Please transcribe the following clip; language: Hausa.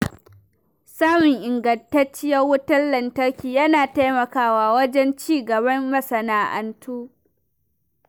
Samun ingantacciyar wutar lantarki yana taimakawa wajen ci gaban masana’antu.